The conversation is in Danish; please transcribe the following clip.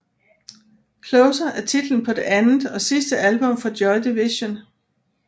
Closer er titlen på det andet og sidste album fra Joy Division